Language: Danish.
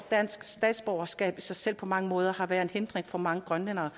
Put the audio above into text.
danske statsborgerskab i sig selv har på mange måder været en hindring for mange grønlændere